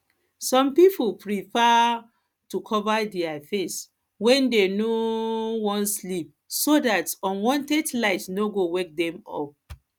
some pipo prefer to cover their face when dem um wan sleep so dat unwanted light no go wake dem up